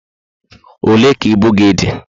Olé ka ibu gị dị?